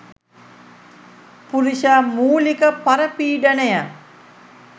පුරුෂ මූලික පරපීඩනය